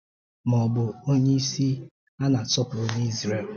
Ma o bu onye isi a a na-asọpụrụ n’Izrel.